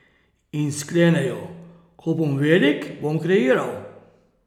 In sklenejo: 'Ko bom velik, bom kreiral.